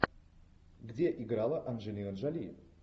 где играла анджелина джоли